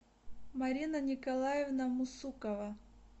марина николаевна мусукова